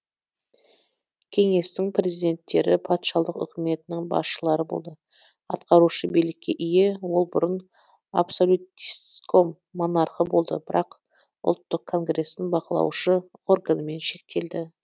кеңестің президенттері патшалық үкіметінің басшылары болды атқарушы билікке ие ол бұрын абсолютистском монархы болды бірақ ұлттық конгрестің бақылаушы органымен шектелді